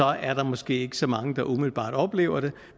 er der måske ikke så mange der umiddelbart oplever det